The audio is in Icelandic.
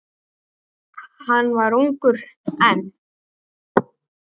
Hann var ungur enn.